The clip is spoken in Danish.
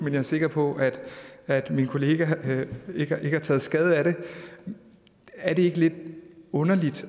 er jeg sikker på at min kollega ikke har taget skade af det er det ikke lidt underligt